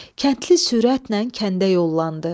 Kəndli sürətlə kəndə yollandı.